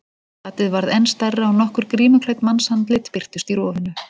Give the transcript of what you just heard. Gatið varð enn stærra og nokkur grímuklædd mannsandlit birtust í rofinu.